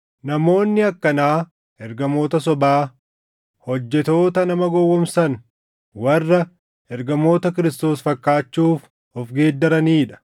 Namoonni akkanaa ergamoota sobaa, hojjettoota nama gowwoomsan, warra ergamoota Kiristoos fakkaachuuf of geeddaranii dha.